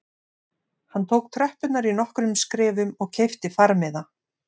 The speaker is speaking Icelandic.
Hann tók tröppurnar í nokkrum skrefum og keypti farmiða